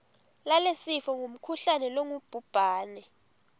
lalesifo ngumkhuhlane longubhubhane